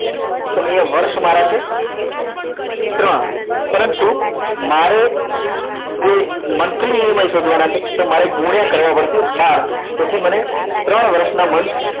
તો અહીંયા વર્ષ મારા છે ત્રણ પરંતુ મારે જે monthly EMI શોધવાના છે તો મારે ગુણ્યા કરવા પડશે બાર તેથી તેને ત્રણ વર્ષના month